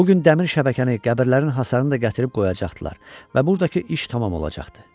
Bu gün dəmir şəbəkəni, qəbirlərin hasarını da gətirib qoyacaqdılar və bu daki iş tamam olacaqdı.